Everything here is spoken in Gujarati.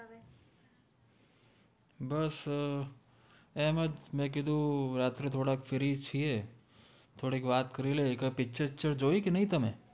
બસ એમજ મૈ કિધુ રાત્રે થોદા free છિએ થોદી વાત કરિ કૈ picture વિcચર જોઇ કે નઈ તમે